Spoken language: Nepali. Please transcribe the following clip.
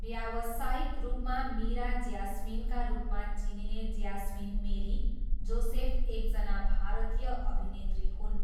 व्यावसायिक रूपमा मीरा ज्यास्मिनका रूपमा चिनिने ज्यास्मिन मेरी जोसेफ एकजना भारतीय अभिनेत्री हुन्